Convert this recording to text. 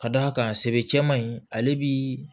Ka d'a kan sebe cɛman in ale bi